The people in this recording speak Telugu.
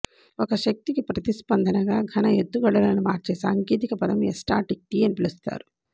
ఒక శక్తికి ప్రతిస్పందనగా ఘన ఎత్తుగడలను మార్చే సాంకేతిక పదం ఎస్టాటిక్టీ అని పిలుస్తారు